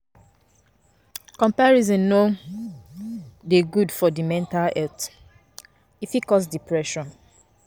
Comparison no dey good for di mental health, e fit cause depression